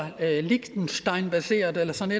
liechtensteinbaseret eller sådan